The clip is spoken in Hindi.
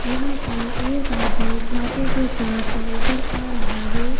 यहां पर एक आदमी छाते के साथ नजर आ रहा है ।